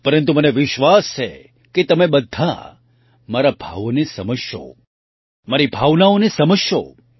પરંતુ મને વિશ્વાસ છે કે તમે બધાં મારા ભાવોને સમજશો મારી ભાવનાઓને સમજશો